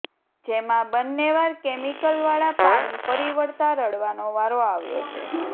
જેમાં બંને વાર કેમિકલવાળા પાણી ફરી વળતાં રડવાનો વારો આવ્યો છે